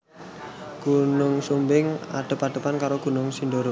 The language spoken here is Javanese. Gunung Sumbing adhep adhepan karo Gunung Sindoro